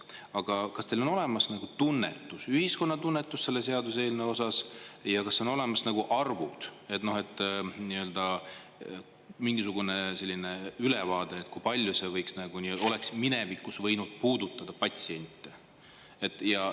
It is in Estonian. Aga kas teil on olemas tunnetus, ühiskonna tunnetus selle seaduseelnõu osas, ja kas on olemas nagu arvud, mingisugune selline ülevaade, kui palju see võiks, oleks minevikus võinud puudutada patsiente?